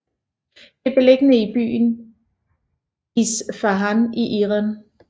Det er beliggende i byen Isfahan i Iran